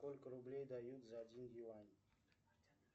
сколько рублей дают за один юань